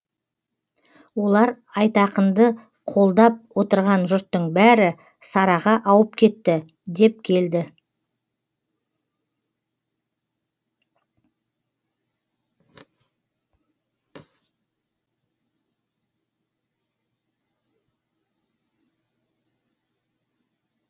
олар айтақынды қолдап отырған жұрттың бәрі сараға ауып кетті деп келді